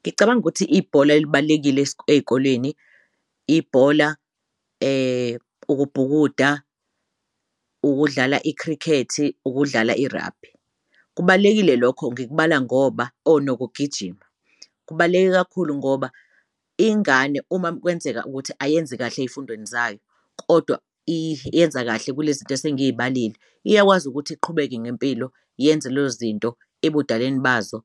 Ngicabanga ukuthi ibhola elibalulekile ey'kolweni ibhola, ukubhukuda, ukudlala i-cricket-i, ukudlala i-rugby kubalulekile lokho ngikubala ngoba oh nokugijima kubaluleke kakhulu ngoba ingane uma kwenzeka ukuthi ayenzi kahle ey'fundweni zayo kodwa yenza kahle kule zinto esengiy'balile iyakwazi ukuthi iqhubeke ngempilo yenze zinto ebudaleni bazo,